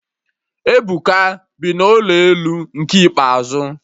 Ebuka bi n'ụlọ elu nke ikpeazụ